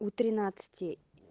у тринадцати